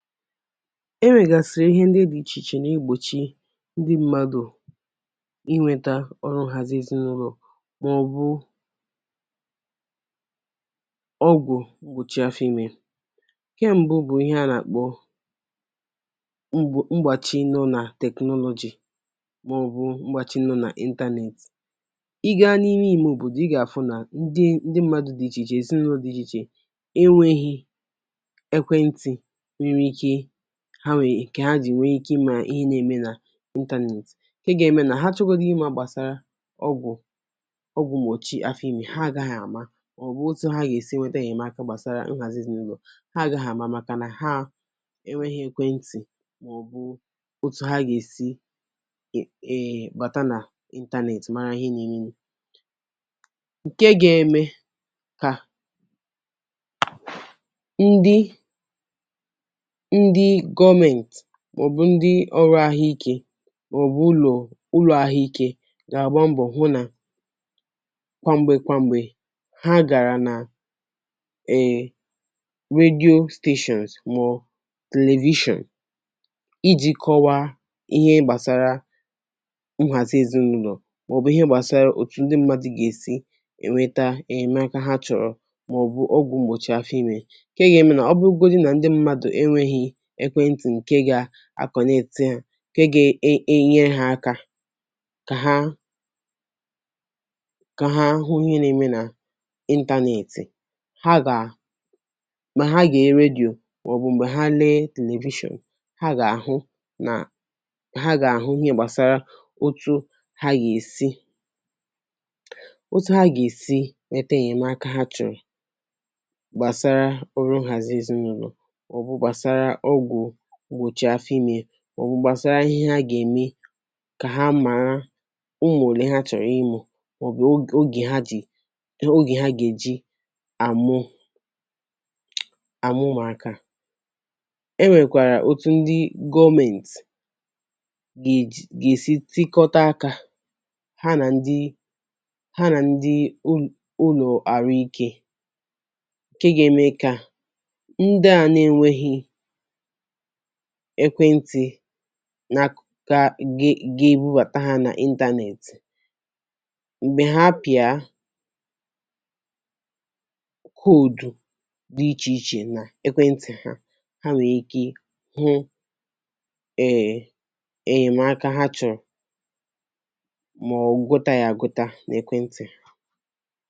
Enwègàsị̀rị̀ ihe ndị́ dị́ iche iche nà egbòchi ndị́ mmadụ̀ inweta ọrụ nhàzi ezinụlọ̀, mà ọ̀ bụ̀ ọgwụ̀ m̀gbochi afọ ịme. Ǹke mbụ bụ̀ ihe a nà-àkpọ mgbo mgbàchi nọ nà technology, mà ọ̀ bụ̀ mgbàchi nọ nà internet. Ị́ gaa n’ime ime obòdo, ị gà-àfụ nà ndị́ ndị́ mmadụ dị́ iche ichè, èzinụlọ dị́ ichè ichè enweghị̇ ekwentị nwèrè ike ha nwèrè, nkè há jì nwee ike ịma ihe na-eme nà internet; ǹke ga-eme nà ha chọgodu ịma gbàsara ọgwụ̀ ọgwụ̀ mgbóchì àfọ̀ ime, ha gaghị̇ àma, mà ọ̀ bụ̀ otu ha gà-èsi nwetà ènyèmaka gbàsara nhàzị èzinụlọ̀, ha agaghị̀ àma, màkà nà ha enwéghị ekwentị̀, mà ọ̀ bụ̀ otu ha gà-èsi è bàta nà internet mara ihe n’eme. Ǹke ga-eme kà ndị́ ndị́ gọọmentị mà ọ̀ bụ̀ ndị́ ọrụ àhụike mà ọ̀ bụ̀ ụlọ̀ ụlọ̀ àhụike gà-àgba mbọ̀ hụ nà kwà m̀gbè kwà m̀gbè ha gàra nà èe radio stations, mà ọ̀ television iji̇ kọwaa ihe gbàsara nhàzì èzinụ́lọ̀, mà ọ̀ bụ̀ ihe gbàsara òtù ndị́ mmadụ gà-èsi ènweta ènyemaka ha chọ̀rọ̀, mà ọ̀ bụ̀ ọgwụ m̀gbochi afọ ime, ǹkè gà-ème nà ọbụgodi nà ndị́ mmadụ enweghị ekwentị̀ nke ga a connect ha, ǹke ga e enyere ha aka kà ha kà ha hụ ịhe n’eme nà internet ha gà mà ha gee radio, mà ọ̀ bụ̀ m̀gbè ha lee television, ha gà àhụ nà ha gà àhụ ihe gbàsara otu ha gà èsi otu ha gà èsi nwete ènyemaka ha chọ̀rọ̀ gbàsara ọrụ nhàzị èzinụ́lọ̀, ma ọ̀ bụ̀ gbàsara ọgwụ mgbochi áfọ́ ímè, mà ọ̀ bú gbasara ihe ha gà-ème kà ha màra ụmụ̀ òlè há chọ̀rọ̀ ịmụ, mà ọ̀ bụ̀ ogè ha ji oge ha ga-èji àmụ àmụ ụ́mụ̀ákà. E nwèkwàrà otu ndị́ gọọmenti ga-èsi tikọta aka ha nà ndị ha nà ndị ụlọ̀ àrụ ike, ǹke ga-eme kà ndị à na-enweghị ekwentị̀ nak ga ga ebubàtà ha nà internet, m̀gbè ha pị̀a koodù dị ichè ichè nà ekwentị̀ ha, ha nwèrè ike hụ e ènyèmaka ha chọ̀rọ̀, mà ọ̀ gụ́ta ya agụ́ta n’ekwentị̀ há.